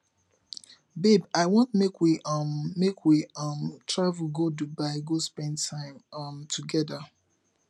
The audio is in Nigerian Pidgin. babe i want make we um make we um travel go dubai go spend time um togeda